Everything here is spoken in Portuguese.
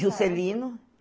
Juscelino.